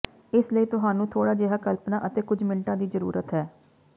ਇਸ ਲਈ ਤੁਹਾਨੂੰ ਥੋੜਾ ਜਿਹਾ ਕਲਪਨਾ ਅਤੇ ਕੁਝ ਮਿੰਟ ਦੀ ਜ਼ਰੂਰਤ ਹੈ